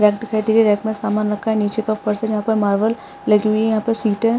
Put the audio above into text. rack दिखाई दे रहे हैं रैक में सामान रखा हैनीचे पैर फर्श है जहां पर मार्बल लगी हुई है यहाँ पर सीटे --